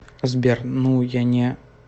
сбер ну я не